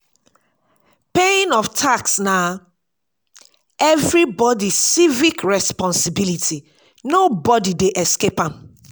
paying of tax na everybody civic responsibility nobody dey escape am